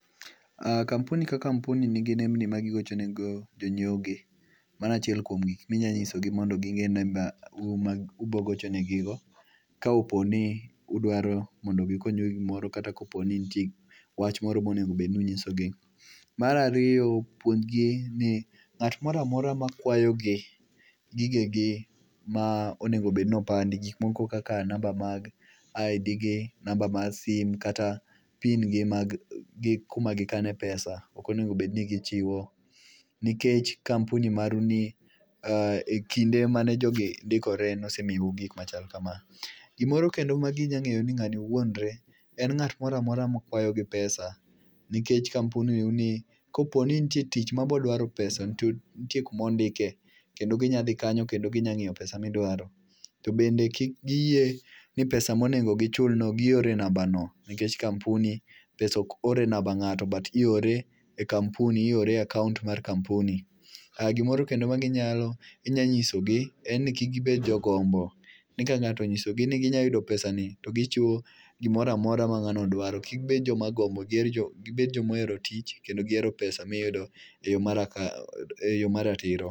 ah kampuni ka kampuni nigi nembni ma gigochone go jonyiewo gi. Mano achiel kuom gik minyanyisogi mondo ging'e ni me u ma ubogocho negi go. Ka opo ni udwaro mondo gikonyu e gi gimoro kata kopo ni nitie wach moro monego bedni unyisogi. Marariyo, puonjgi ni ng'at moramora ma kwayogi gigegi ma onegobednopandi. Gik moko kaka namba mag ID gi, namba mar sim, kata pin gi mag gi kuma gikane pesa, okonego bedni gichiwo. Nikech kampuni maru ni e kinde mane jogi dikore nosemiyou gik machal kama. Gimoro kendo ma ginya ng'eyo ni ng'ani wuondre, en nga't moramora ma kwayo gi pesa. Nikech kampuni u ni kopo ni nitie tich ma bodwaro pesa, to ntie kumindike. Kendo ginyadhi kanyo kendo ginya ng'iyo pesa midwaro. To bende kik giyie ni pesa monego gichul no gioro e namba no. Nikech kampuni, pesa ok or e namba ng'ato, but iore e kampuni, iore e akaont mar kampuni. Ah gimoro kendo ma ginyalo, inya nyisogi en ni kik gibed jo gombo. Ni ka ng'ato onyisogi ni ginya yudo pesa ni to gichiwo gimoramora ma ng'ano dwaro. Kik bed joma gombo, gibed jomohero tich, kendo gihero pesa miyudo e yo maraka e yo maratiro.